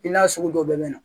I n'a sugu dɔ bɛ na